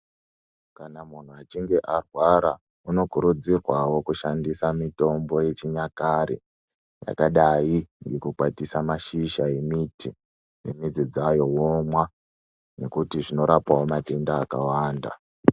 Kana munhu achinge arwara unokurudzirwawo kushandisa mitombo yechinyakare yakadai nekukwatisa mashizha emiti nemidzi dzayo womwa nekuti zvinorapawo matenda akawanda.